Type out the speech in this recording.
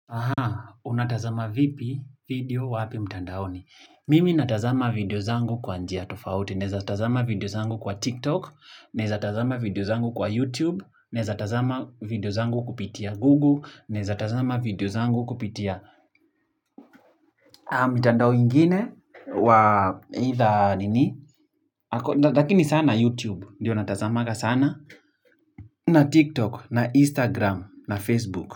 Unatazama vipi video wapi mtandaoni? Mimi natazama video zangu kwa njia tofauti. Naeza tazama video zangu kwa TikTok, naeza tazama video zangu kwa YouTube, naeza tazama video zangu kupitia Google, naeza tazama video zangu kupitia mtandao ingine wa either nini. Lakini sana YouTube, ndiyo natazamanga sana. Na TikTok, na Instagram, na Facebook.